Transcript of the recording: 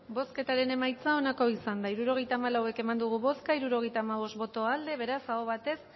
bozketaren emaitza onako izan da hirurogeita hamabost eman dugu bozka hirurogeita hamabost boto aldekoa beraz aho batez